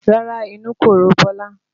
Rárá inú kò ro Bọlá